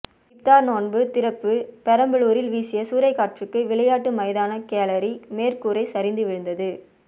இப்தார் நோன்பு திறப்பு பெரம்பலூரில் வீசிய சூறைக்காற்றுக்கு விளையாட்டு மைதான கேலரி மேற்கூரை சரிந்து விழுந்தது